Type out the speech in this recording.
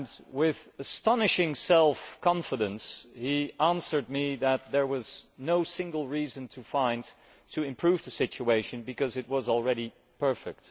With astonishing self confidence, he answered me that there was no reason to improve the situation because it was already perfect.